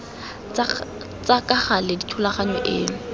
tsa ka gale thulaganyo eno